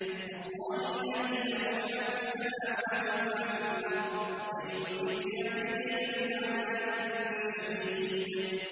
اللَّهِ الَّذِي لَهُ مَا فِي السَّمَاوَاتِ وَمَا فِي الْأَرْضِ ۗ وَوَيْلٌ لِّلْكَافِرِينَ مِنْ عَذَابٍ شَدِيدٍ